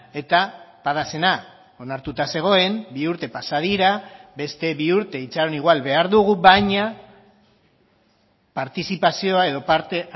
eta padasena onartuta zegoen bi urte pasa dira beste bi urte itxaron igual behar dugu baina partizipazioa edo parte